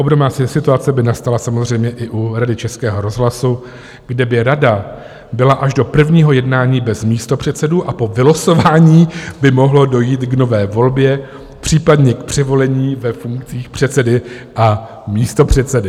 Obdobná situace by nastala samozřejmě i u Rady Českého rozhlasu, kde by rada byla až do prvního jednání bez místopředsedů a po vylosování by mohlo dojít k nové volbě, případně k převolení ve funkcích předsedy a místopředsedy.